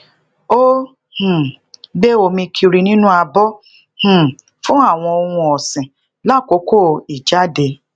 ó um gbé omi kiri ninu abo um fún àwọn ohun òsìn lakoko ijáde